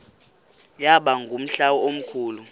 yaba ngumhla omkhulu